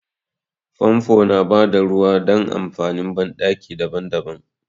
Famfo yana bada ruwa dan amfanin banɗaki daban-daban.